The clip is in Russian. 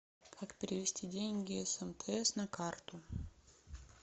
как перевести деньги с мтс на карту